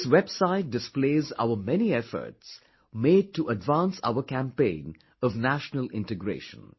This website displays our many efforts made to advance our campaign of national integration